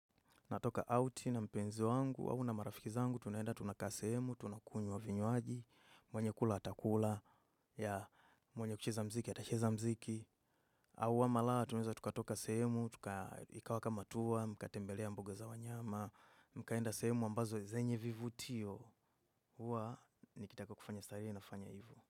Natoka outi na mpenzi wangu, au na marafiki zangu, tunaenda tunakaa sehemu, tunakunywa vinywaji, mwenye kula atakula, ya mwenye kucheza mziki, atacheza mziki. Au ama la, tunuweza tukatoka sehemu, ikawakamatua, mkatembelea mbuga za wanyama, mkaenda sehemu ambazo zenye vivutio, huwa nikitaka kufanya starehe nafanya hivo.